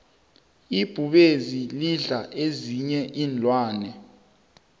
ibhubezi lidla ezinyei iinlwanyana